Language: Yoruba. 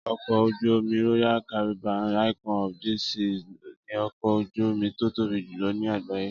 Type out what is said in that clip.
Ọkọ̀ ojú-omi Royal Caribbean's Icon of the Seas ni ọkọ̀ ojú-omi tó tóbi jùlọ ní àgbáyé